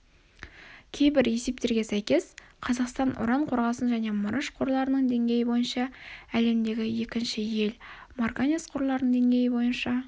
кейбір есептерге сйкес қазақстан уран қорғасын және мырыш қорларының деңгейі бойынша әлемдегі екінші ел марганец қорларының деңгейі бойынша